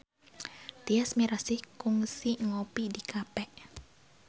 Tyas Mirasih kungsi ngopi di cafe